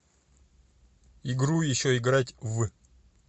игру еще играть в